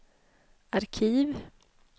arkiv